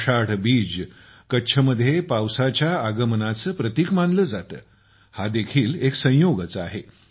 आषाढ बीज कच्छ मध्ये पावसाच्या आगमनाचे प्रतिक मानले जाते हा देखील एक संयोगच आहे